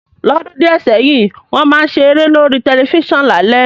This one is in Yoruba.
Lódún dìẹ̀ sẹ́hìn, won má n se eré lórí tẹlifísàn lálé